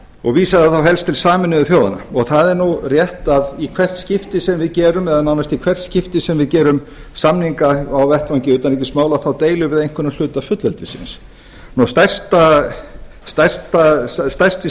og vísaði þá helst til sameinuðu þjóðanna það er nú rétt að í helst skipti sem við gerum eða nánast í hvert skipti sem við gerum samninga á vettvangi utanríkismála þá deilum við einhverjum hluta fullveldisins stærsti